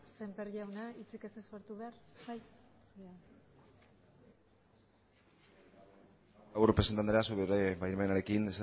sémper jauna zuk ez duzu parte hartu behar bai presidente andrea zure baimenarekin